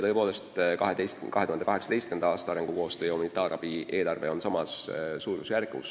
Tõepoolest, 2018. aasta arengukoostöö ja humanitaarabi eelarve on samas suurusjärgus.